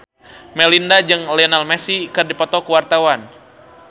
Melinda jeung Lionel Messi keur dipoto ku wartawan